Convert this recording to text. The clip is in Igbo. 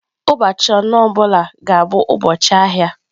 Ụbọchị anọ ọ bụla ga-abụ ụbọchị ahịa.